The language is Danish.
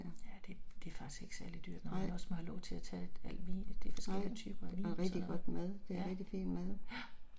Ja det, det er faktisk ikke særlig dyrt når man også må have lov til at tage al vin de forskellige typer af vin, og sådan noget ja, ja